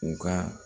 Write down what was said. U ka